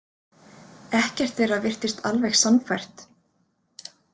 Ekkert þeirra virtist alveg sannfært.